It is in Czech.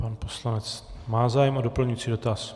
Pan poslanec má zájem o doplňující dotaz.